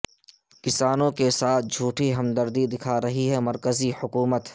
کسانوں کے ساتھ جھوٹی ہمدردی دکھارہی ہے مرکزی حکومت